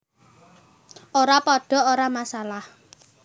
Ora padha ora masalah